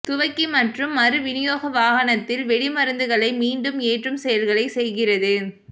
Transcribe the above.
துவக்கி மற்றும் மறு விநியோக வாகனத்தில் வெடிமருந்துகளை மீண்டும் ஏற்றும் செயல்களை செய்கிறது